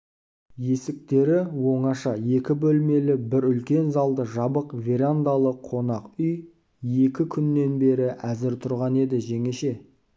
есіктері оңаша екі бөлмелі бір үлкен залды жабық верандалы қонақ үй екі күннен бері әзір тұрған еді жеңеше